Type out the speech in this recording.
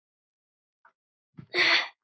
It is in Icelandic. Vorum við smeykar?